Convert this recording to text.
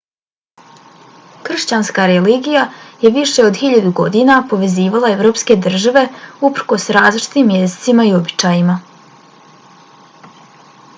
kršćanska religija je više od hiljadu godina povezivala evropske države uprkos različitim jezicima i običajima